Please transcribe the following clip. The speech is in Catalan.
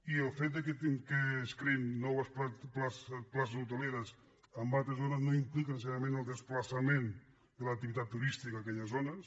i el fet que es creïn noves places hoteleres en altres zones no implica necessàriament el desplaçament de l’activitat turística a aquelles zones